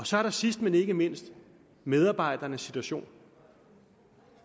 så er der sidst men ikke mindst medarbejdernes situation